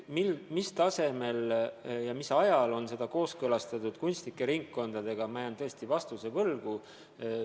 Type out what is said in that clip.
Mis tasemel ja mis ajal on seda kooskõlastatud kunstnike ringkondadega, selle vastuse ma jään võlgu.